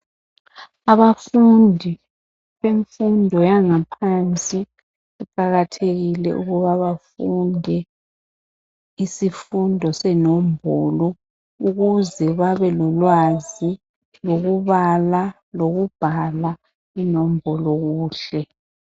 Abafundi bemfundo yangaphansi kuqakathekile ukuba bafunde isifundo senombolo ukuze babe lolwazi lokubala lokubhala inombolo kuhle .